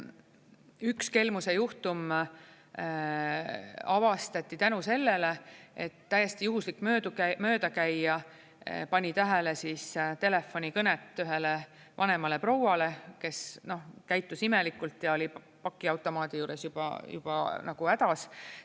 Üks kelmuse juhtum avastati tänu sellele, et täiesti juhuslik möödakäija pani tähele telefonikõnet ühele vanemale prouale, kes käitus imelikult ja oli pakiautomaadi juures juba hädas.